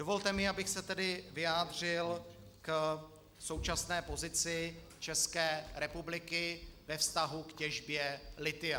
Dovolte mi, abych se tedy vyjádřil k současné pozici České republiky ve vztahu k těžbě lithia.